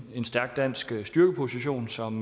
stærk dansk styrkeposition som